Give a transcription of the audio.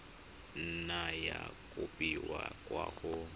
nna ya kopiwa kwa go